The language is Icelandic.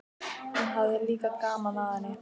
Hún hafði líka gaman af henni.